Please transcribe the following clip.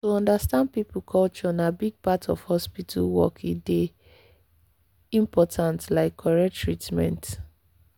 to understand people culture na big part of hospital work e dey important like correct treatment.